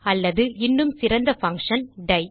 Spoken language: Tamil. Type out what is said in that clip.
அல்லது இன்னும் சிறந்தfunction டை